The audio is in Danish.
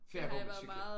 Ferie hvor man cykler